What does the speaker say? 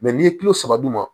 n'i ye kulo saba d'u ma